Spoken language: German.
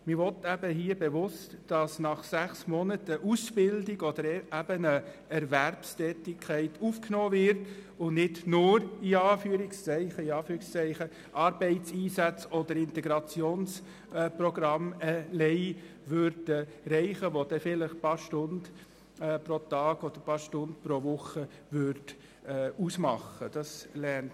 Man will hier bewusst, dass nach sechs Monaten eine Ausbildung oder eine Erwerbstätigkeit aufgenommen und nicht «nur» an Arbeitseinsätzen oder Integrationsprogrammen teilgenommen wird, weil Letztere vielleicht nur ein paar Stunden pro Tag oder Woche ausmachen würden.